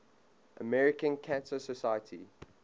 american cancer society